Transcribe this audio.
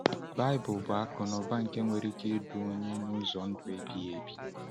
Baịbụl bụ akụnụba nke nwere ike idu onye n’ụzọ ndụ ebighị ebi.